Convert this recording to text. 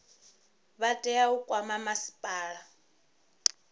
vha tea u kwama masipala